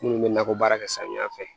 Minnu bɛ nakɔ baara kɛ samiya fɛ